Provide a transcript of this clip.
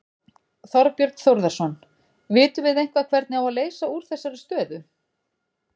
Þorbjörn Þórðarson: Vitum við eitthvað hvernig á að leysa úr þessari stöðu?